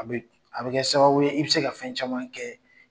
A bɛ a bɛ kɛ sababu ye i bɛ se ka fɛn caman kɛ.